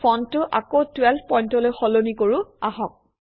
ফন্টটো আকৌ 12 পইণ্টলৈ সলনি কৰোঁ আহক